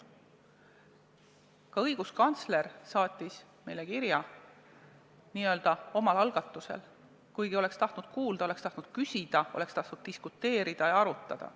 Ka õiguskantsler saatis meile kirja – n-ö omal algatusel –, kuigi oleks tahtnud kuulda, oleks tahtnud küsida, oleks tahtnud diskuteerida, arutada.